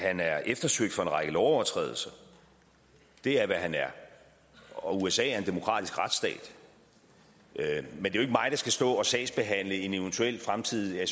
han er eftersøgt for en række lovovertrædelser det er hvad han er og usa er en demokratisk retsstat men det er skal stå og sagsbehandle en eventuel fremtidig